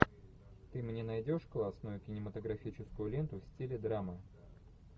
ты мне найдешь классную кинематографическую ленту в стиле драмы